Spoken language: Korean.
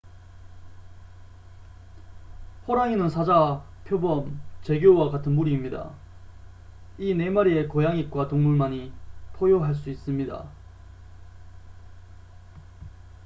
호랑이는 사자 표범 재규어와 같은 무리입니다 이 네 마리의 고양잇과 동물만이 포효할 수 있습니다